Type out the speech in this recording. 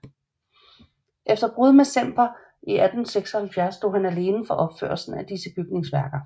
Efter brud med Semper i 1876 stod han alene for opførelsen af disse bygningsværker